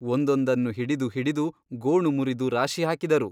ಒಂದೊಂದನ್ನು ಹಿಡಿದು ಹಿಡಿದು ಗೋಣು ಮುರಿದು ರಾಶಿ ಹಾಕಿದರು.